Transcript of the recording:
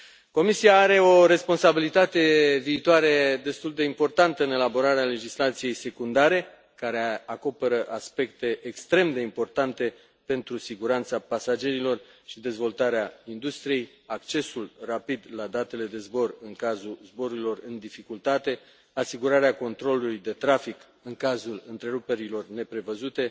Comisia are o responsabilitate viitoare destul de importantă în elaborarea legislației secundare, care acoperă aspecte extrem de importante pentru siguranța pasagerilor și dezvoltarea industriei, accesul rapid la datele de zbor în cazul zborurilor în dificultate, asigurarea controlului de trafic în cazul întreruperilor neprevăzute,